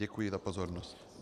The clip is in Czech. Děkuji za pozornost.